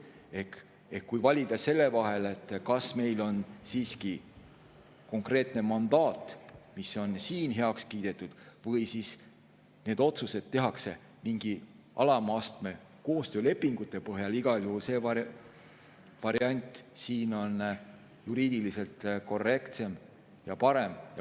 Ehk kui on valida selle vahel, kas meil on siiski konkreetne mandaat, mis on siin heaks kiidetud, või need otsused tehakse mingi alama astme koostöölepingu põhjal, siis igal juhul see variant siin on juriidiliselt korrektsem ja parem.